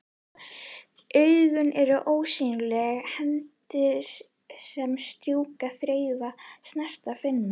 Augun eru ósýnilegar hendur sem strjúka, þreifa, snerta, finna.